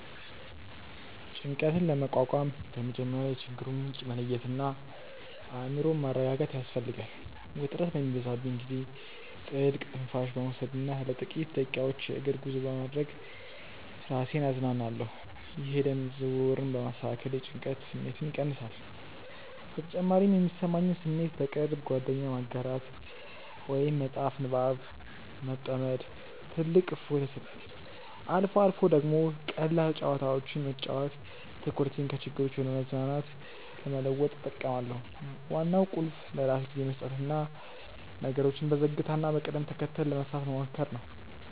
ጭንቀትን ለመቋቋም በመጀመሪያ የችግሩን ምንጭ መለየትና አእምሮን ማረጋጋት ያስፈልጋል። ውጥረት በሚበዛብኝ ጊዜ ጥልቅ ትንፋሽ በመውሰድና ለጥቂት ደቂቃዎች የእግር ጉዞ በማድረግ ራሴን አዝናናለሁ። ይህ የደም ዝውውርን በማስተካከል የጭንቀት ስሜትን ይቀንሳል። በተጨማሪም የሚሰማኝን ስሜት ለቅርብ ጓደኛ ማጋራት ወይም በመጽሐፍ ንባብ መጥመድ ትልቅ እፎይታ ይሰጣል። አልፎ አልፎ ደግሞ ቀላል ጨዋታዎችን መጫወት ትኩረቴን ከችግሮች ወደ መዝናናት ለመለወጥ እጠቀማለሁ። ዋናው ቁልፍ ለራስ ጊዜ መስጠትና ነገሮችን በዝግታና በቅደም ተከተል ለመፍታት መሞከር ነው።